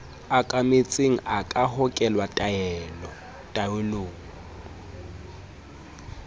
okametseng a ka hokela taelong